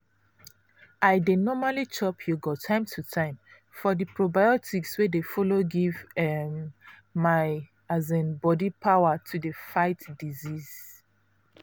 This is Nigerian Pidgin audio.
i dey normally chop yogurt time to time for di probiotics wey dey follow give um my um body power to dey fight diseases.